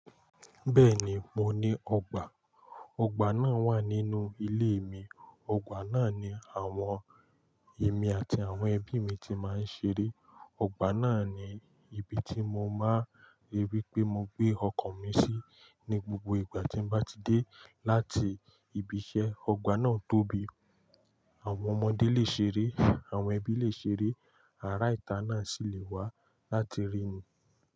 Bẹ́ẹ̀ni mo ní ọgbà. Ọgbà náà wà nínú ilé mi. Ọgbà náà ni àwọn èmi àti àwọn ẹbí mi ti máa ń ṣeré. Ọgbà náà ni ibi tí mo máa ń rí pé mo gbé ọkọ̀ mi sí ní gbogbo ìgbà tí n bá ti dé láti ibi iṣẹ́. Ọgbà náà tóbi, àwọn ọmọdé lè ṣeré, àwọn ẹbí lè ṣeré, ará ìta náà sì le wá láti ríni.